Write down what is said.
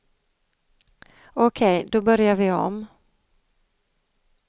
Okej, då börjar vi om.